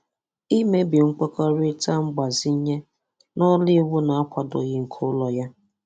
imebi nkwekọrịta mgbazinye na ọrụ iwu na-akwadoghị nke ụlọ ya.